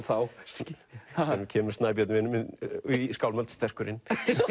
þá kemur Snæbjörn vinur minn í skálmöld sterkur inn